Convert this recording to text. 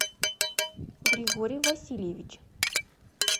григорий васильевич